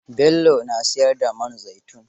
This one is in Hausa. Bello na siyar da man zaitun.